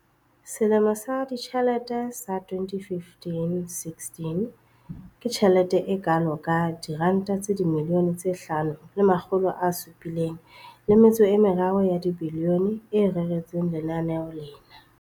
Selemong sa ditjhelete sa 2015-16, ke tjhelete e kalo ka R5 703 bilione e reretsweng lenaneo lena.